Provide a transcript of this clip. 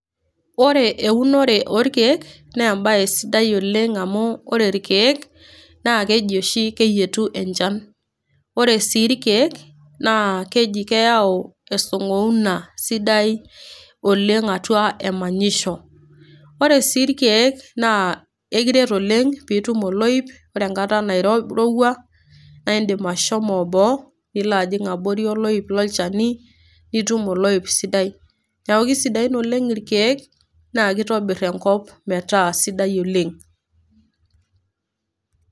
Ore eunore olkeek naa embae sidai oleng' amu ore ilkeek naa keji oshi keyietu enchan. Ore sii ilkeek naa keji keyau esing'ouna sidai oleng' atua emanyisho. Ore sii ilkeek naa ekiret oleng' pee itum oloip, ore enkata nairouwa naa indim ashomo boo nijing' abori oloip lolchani nitum oloip sidai. Neaku kesidain oleng' ilkeek, naa keitobir enkop metaa sidai oleng' .